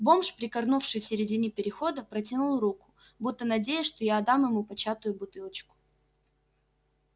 бомж прикорнувший в середине перехода протянул руку будто надеясь что я отдам ему початую бутылочку